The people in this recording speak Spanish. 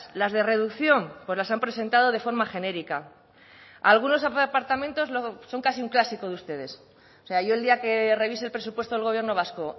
las de reducción pues las han presentado de forma genérica algunos departamentos son casi un clásico de ustedes o sea yo el día que revise el presupuesto del gobierno vasco